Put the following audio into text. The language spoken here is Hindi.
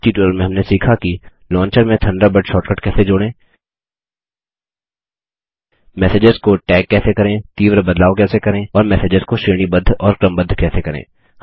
इस ट्यूटोरियल में हमने सीखा कि लॉन्चर में थंडरबर्ड शॉर्टकट कैसे जोड़ें मेसेजेज को टैग कैसे करें तीव्र बटलाव कैसे करें और मैसेजेस को श्रेणीबद्ध और क्रमबद्ध कैसे करें